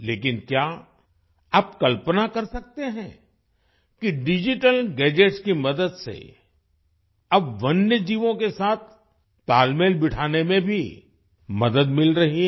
लेकिन क्या आप कल्पना कर सकते हैं कि डिजिटल गैजेट्स की मदद से अब वन्य जीवों के साथ तालमेल बिठाने में भी मदद मिल रही है